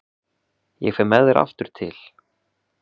Ég fer með þér aftur til